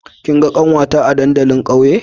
Kin ga kanwata a dandalin ƙauye?